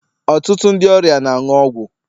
Ọtụtụ ndị ọrịa na-aṅụ ọgwụ